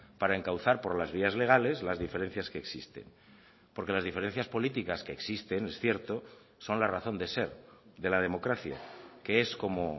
para encauzar por las vías legales las diferencias que existen porque las diferencias políticas que existen es cierto son la razón de ser de la democracia que es como